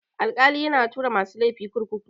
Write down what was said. Alkali yana tura masu laifi kurkuku.